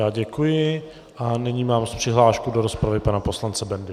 Já děkuji a nyní mám přihlášku do rozpravy pana poslance Bendy.